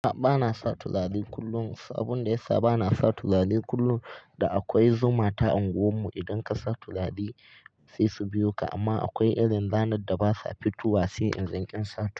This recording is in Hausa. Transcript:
A'a banasa turare kullum, sabon da yasa banasa turare kullum da akwai zuma ta unguwar mu. Idan kasa turare saisu biyoka amma akwai irin ranarda basa fitowa sai in dan.